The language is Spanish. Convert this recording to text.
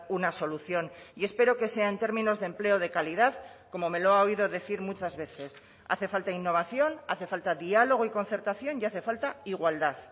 una solución y espero que sea en términos de empleo de calidad como me lo ha oído decir muchas veces hace falta innovación hace falta diálogo y concertación y hace falta igualdad